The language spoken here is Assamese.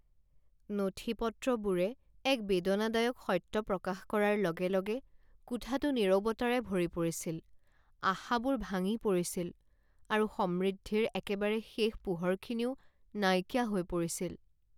নথিপত্ৰবোৰে এক বেদনাদায়ক সত্য প্ৰকাশ কৰাৰ লগে লগে কোঠাটো নীৰৱতাৰে ভৰি পৰিছিল, আশাবোৰ ভাঙি পৰিছিল আৰু সমৃদ্ধিৰ একেবাৰে শেষ পোহৰখিনিও নাইকিয়া হৈ পৰিছিল।